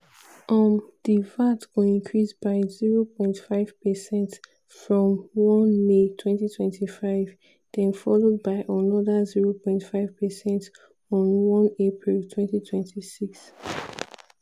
um di vat go increase by 0.5 percent from 1 may 2025 den followed by anoda 0.5 percent on 1 april 2026.